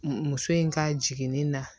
Muso in ka jiginni na